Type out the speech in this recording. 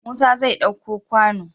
Musa zai ɗauko kwano